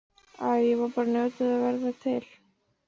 Æ, ég var bara að njóta þess að vera til.